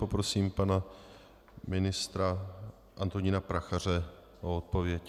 Poprosím pana ministra Antonína Prachaře o odpověď.